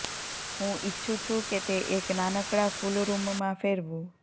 હું ઇચ્છું છું કે તે એક નાનકડા ફુલ રૂમમાં ફેરવુ